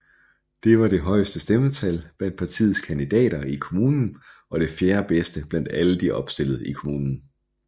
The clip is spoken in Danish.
Det var det højeste stemmetal blandt partiets kandidater i kommunen og det fjerdebedste blandt alle de opstillede i kommunen